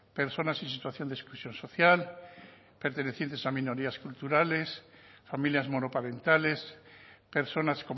personas en situación de exclusión social pertenecientes a minorías culturales familias monoparentales personas